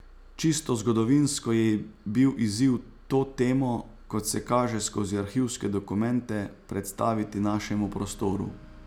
Čisto zgodovinsko je bil izziv to temo, kot se kaže skozi arhivske dokumente, predstaviti našemu prostoru.